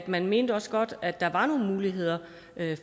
man mente også godt at der måske var nogle muligheder